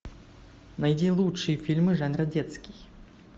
найди лучшие фильмы жанра детский